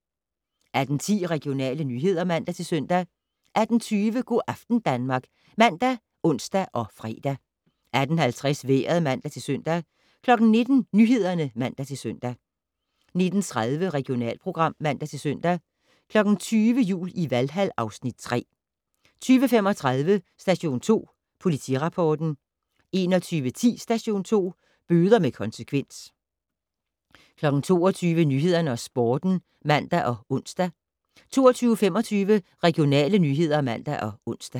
18:10: Regionale nyheder (man-søn) 18:20: Go' aften Danmark ( man, ons, fre) 18:50: Vejret (man-søn) 19:00: Nyhederne (man-søn) 19:30: Regionalprogram (man-søn) 20:00: Jul i Valhal (Afs. 3) 20:35: Station 2 Politirapporten 21:10: Station 2: Bøder med konsekvens 22:00: Nyhederne og Sporten (man og ons) 22:25: Regionale nyheder (man og ons)